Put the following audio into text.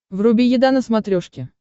вруби еда на смотрешке